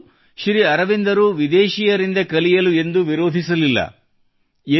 ಹಾಗಿದ್ದರೂ ಶ್ರೀ ಅರವಿಂದರು ವಿದೇಶಿಗರಿಂದ ಕಲಿಯಲು ಎಂದೂ ವಿರೋಧಿಸಲಿಲ್ಲ